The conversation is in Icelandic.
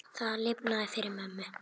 Það lifnaði yfir mömmu.